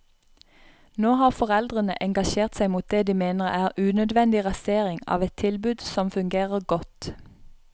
Nå har foreldrene engasjert seg mot det de mener er unødvendig rasering av et tilbud som fungerer godt.